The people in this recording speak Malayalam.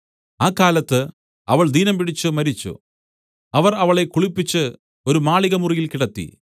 ആ കാലത്ത് അവൾ ദീനംപിടിച്ചു മരിച്ചു അവർ അവളെ കുളിപ്പിച്ച് ഒരു മാളികമുറിയിൽ കിടത്തി